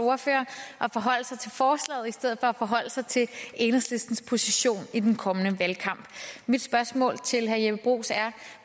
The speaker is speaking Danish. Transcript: ordfører at forholde sig til forslaget i stedet for at forholde sig til enhedslistens position i den kommende valgkamp mit spørgsmål til herre jeppe bruus er